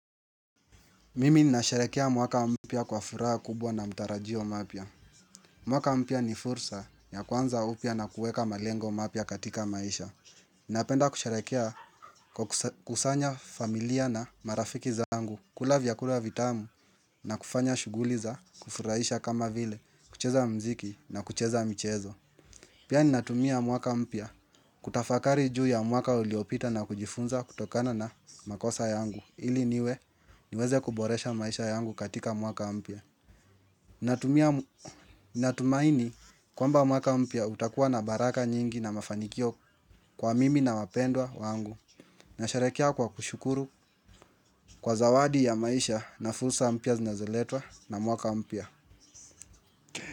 Mimi nasharehekea mwaka mpya kwa furaha kubwa na mtarajio mapya. Mwaka mpya ni fursa ya kuanza upya na kuweka malengo mapya katika maisha. Napenda kusherekea kwa kusanya familia na marafiki zangu kula vya kula vitamu na kufanya shuguliza kufurahisha kama vile kucheza mziki na kucheza michezo. Pia ninatumia mwaka mpya kutafakari juu ya mwaka uliopita na kujifunza kutokana na makosa yangu. Ili niwe niweze kuboresha maisha yangu katika mwaka mpya. Natumaini kwamba mwaka mpya utakuwa na baraka nyingi na mafanikio kwa mimi na wapendwa wangu. Nasherehekea kwa kushukuru kwa zawadi ya maisha na fursa mpya zinazoletwa na mwaka mpya.